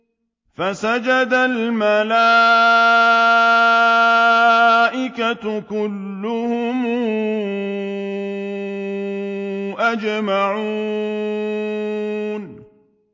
فَسَجَدَ الْمَلَائِكَةُ كُلُّهُمْ أَجْمَعُونَ